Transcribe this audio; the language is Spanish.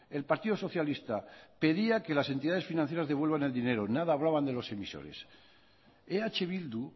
el partido socialista pedía que las entidades financieras devuelvan el dinero nada hablaban de los emisores eh bildu